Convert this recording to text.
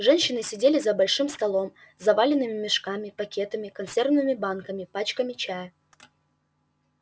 женщины сидели за большим столом заваленным мешками пакетами консервными банками пачками чая